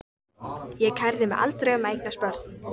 Ég kærði mig aldrei um að eignast börn.